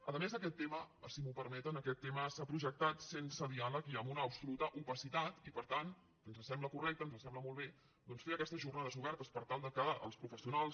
a més aquest tema si m’ho permeten s’ha projectat sense diàleg i amb una absoluta opacitat i per tant ens sembla correcte ens sembla molt bé doncs fer aquestes jornades obertes per tal que els professionals